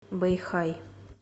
бэйхай